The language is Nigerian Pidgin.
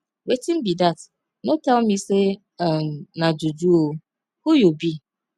wetin be dat no tell me say um na juju oo who you be